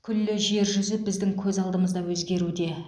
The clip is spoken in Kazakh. күллі жер жүзі біздің көз алдымызда өзгеруде